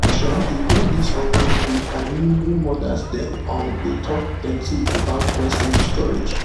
um e get this online group i mean wey mothers dem um dey talk plenty about breast milk storage